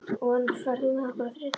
Von, ferð þú með okkur á þriðjudaginn?